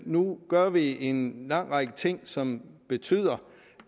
nu gør vi en lang række ting som betyder